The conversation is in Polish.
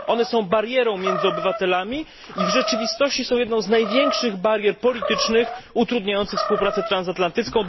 One są barierą między obywatelami i w rzeczywistości są jedną z największych barier politycznych utrudniających współpracę transatlantycką.